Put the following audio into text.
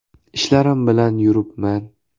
Ishlarim bilan yuribman.